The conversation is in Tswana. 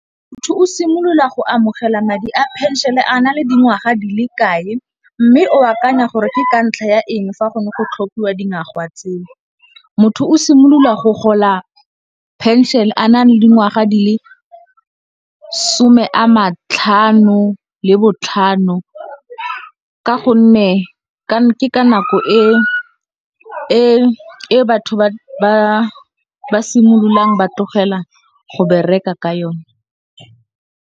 Motho o simolola go amogela madi a phenšene a na le dingwaga di le kae, mme o akanya gore ke ka ntlha ya eng fa gone go tlhophiwa dingwaga tseo? Motho o simolola go gola phenšene a na le dingwaga di le some a matlhano le botlhano ka gonne ke ka nako e batho ba simololang ba tlogela go bereka ka yone.